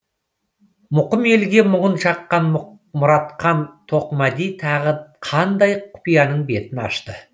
мұқым елге мұңын шаққан мұратхан тоқмәди тағы қандай құпияның бетін ашты